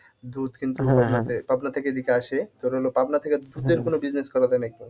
দুধ কিন্তু পাবনা থেকে এদিকে আসে তোর হলো পাবনা থেকে দুধের কোন business করা যায় নাকি?